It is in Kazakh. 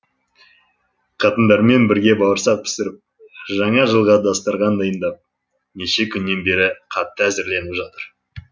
қатындармен бірге бауырсақ пісіріп жаңа жылға дастарқан дайындап неше күннен бері қатты әзірленіп жатыр